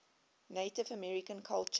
native american culture